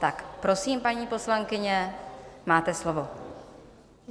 Tak prosím, paní poslankyně, máte slovo.